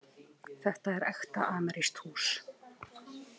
Þetta er ekta amerískt hús.